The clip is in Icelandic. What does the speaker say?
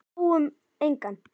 Sáum engan.